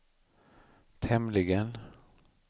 tämligen